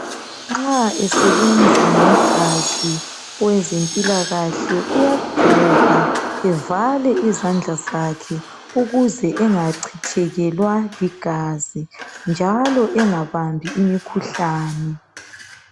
Nxa esebenza ngegazi owezempilakahle uyagqoka evale izandla zakhe ukuze engachithekelwa ligazi njalo engabambi imikhuhlane.